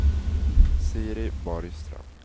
Siri Borgström